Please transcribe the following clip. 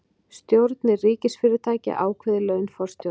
Stjórnir ríkisfyrirtækja ákveði laun forstjóra